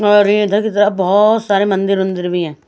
और ये बहत सारे मंदिर वंदिर भी है।